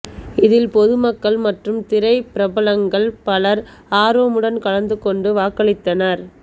இதில் பொதுமக்கள் மற்றும் திரைப்பிரபலங்கள் பலர் ஆர்வமுடன் கலந்து கொண்டு வாக்களித்தனர்